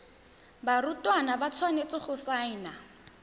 barutwana ba tshwanetse go saena